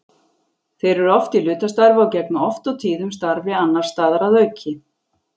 Þeir eru oft í hlutastarfi og gegna oft og tíðum starfi annars staðar að auki.